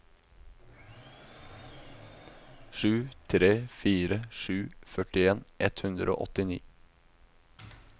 sju tre fire sju førtien ett hundre og åttini